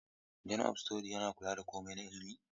Dean of Studies yana kula da komai na ilimi